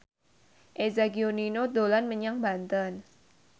Eza Gionino dolan menyang Banten